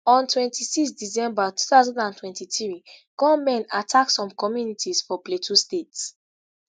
on 26 december 2023 gunmen attack some communities for plateau state